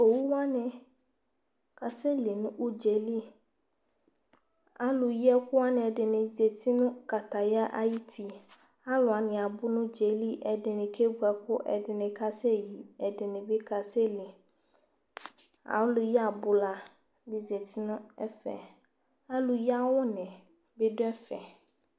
owu wani ka sɛ li no udzaɛ li alo yi ɛko wani ɛdini zati no kataya ayiti alo wani abo no udzaɛli ɛdini kevu ɛko ɛdini ka sɛ yi ɛdini bi ka sɛ li alo yi abola bi zati no ɛfɛ alo yi awu ni bi do ɛfɛ